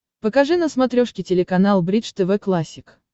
покажи на смотрешке телеканал бридж тв классик